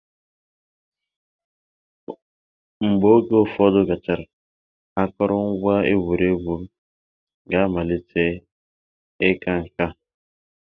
Mgbe oge ụfọdụ gachara, akụrụngwa egwuregwu ga-amalite ịka nká